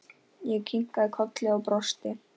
Ég kinkaði kolli og brosti.